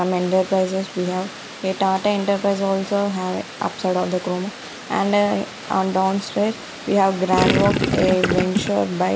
prices we have a tata enterprise also have upside of the and uh on downstairs we have a venture by --